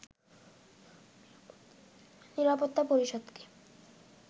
নিরাপত্তা পরিষদকে